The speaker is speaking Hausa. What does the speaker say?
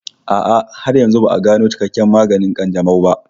A'a, har yanzu ba'a gano cikakken maganin ƙanjamau ba